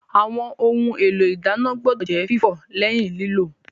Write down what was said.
Àwọn ohun èlò ìdáná gbọ́dọ̀ jẹ́ fífọ̀ lẹ́yìn lílò